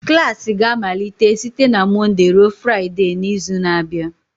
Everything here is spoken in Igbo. Klas ga-amalite site na Mọnde ruo Fraịde n'izu na-abịa